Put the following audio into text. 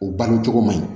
U balo cogo man ɲi